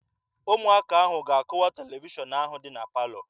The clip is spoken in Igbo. Ụmụaka ahụ ga-akụwa televishọn ahụ dị na palọ.